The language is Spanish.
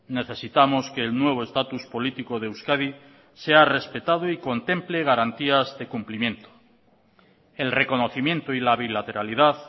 necesitamos que el nuevo estatus político de euskadi sea respetado y contemple garantías de cumplimiento el reconocimiento y la bilateralidad